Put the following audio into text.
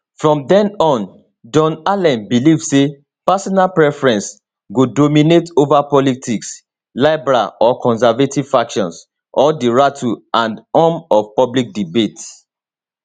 from den on john allen believe say personal preference go dominate ova politics liberal or conservative factions or di rattle and hum of public debate